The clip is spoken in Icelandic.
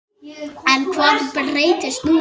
En hvað breytist núna?